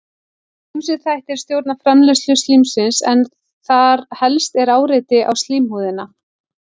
ýmsir þættir stjórna framleiðslu slímsins en þar helst er áreiti á slímhúðina